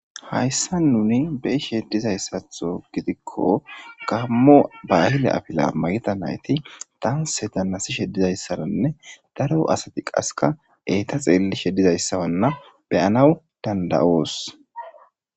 hayssan nuni beishedizayssatho gidikko gammo bahile afila mayida nayti danse dannasishedizayssaranne daro asati qaska eeta xeellishe dizayssawanna beyanaw danda'oos